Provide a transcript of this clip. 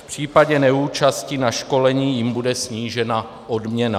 V případě neúčasti na školení jim bude snížena odměna.